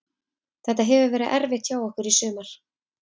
Þetta hefur verið erfitt hjá okkur í sumar.